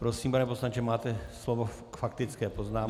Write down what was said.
Prosím, pane poslanče, máte slovo k faktické poznámce.